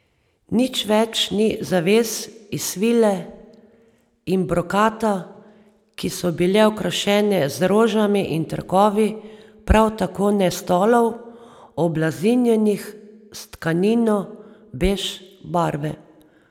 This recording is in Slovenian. Nič več ni zaves iz svile in brokata, ki so bile okrašene z rožami in trakovi, prav tako ne stolov, oblazinjenih s tkanino bež barve.